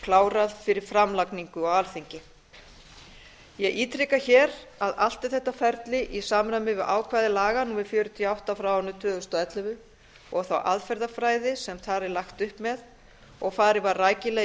klárað fyrir framlagningu á alþingi ég ítreka að allt er þetta ferli í samræmi við ákvæði laga númer fjörutíu og átta tvö þúsund og ellefu og þá aðferðafræði sem þar er lagt upp með og farið var rækilega í